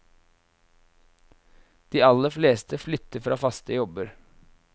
De aller fleste flytter fra faste jobber.